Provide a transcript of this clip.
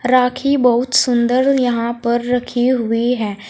राखी बहुत सुंदर यहां पर रखी हुई है।